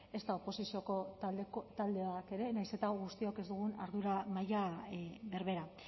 ezta oposizioko taldeak ere nahiz eta guztiok ez dugun ardura maila berbera